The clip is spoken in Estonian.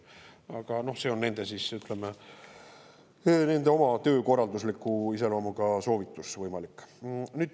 Aga noh, see on siis nende, ütleme, oma töökorraldusliku iseloomuga võimalik soovitus.